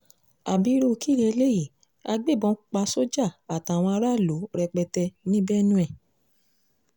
ábírú kí leléyìí agbébọn pa soldier àtàwọn aráàlú rẹpẹtẹ ní benue